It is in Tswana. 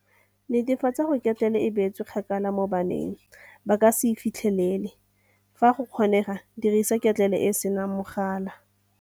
Netefatsa gore ketlele e beetswe kgakala mo bana ba ka se e fitlheleleng. Fa go kgonagala dirisa ketlele e e senang mogala.